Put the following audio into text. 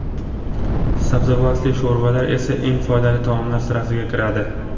Sabzavotli sho‘rvalar esa eng foydali taomlar sirasiga kiradi.